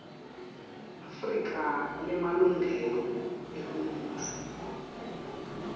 afrika lemalungelo eluntfu